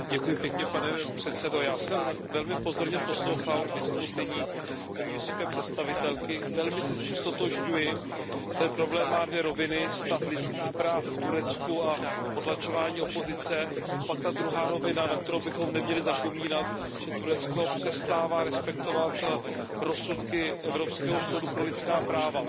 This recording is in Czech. Pane předsedající, já jsem velmi pozorně poslouchal vystoupení paní vysoké představitelky, velmi se s ním ztotožňuji. Ten problém má dvě roviny, stav lidských práv v Turecku a potlačování opozice a pak je ta druhá rovina, na kterou bychom neměli zapomínat, že Turecko přestává respektovat rozsudky Evropského soudu pro lidská práva.